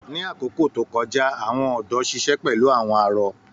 Ni àkókò tó kọjá, àwọn ọ̀dọ́ ṣiṣẹ pẹlu àwọn arọ.